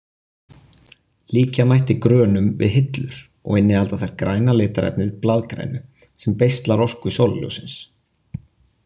Líkja mætti grönum við hillur og innihalda þær græna litarefnið blaðgrænu sem beislar orku sólarljóssins.